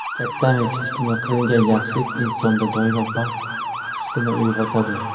Kattami, kichikmi, qilingan yaxshilik insonda doimo baxt hissini uyg‘otadi.